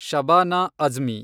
Shabana Azmi